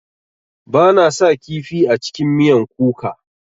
Bana sa kifi a cikin miyan kuka.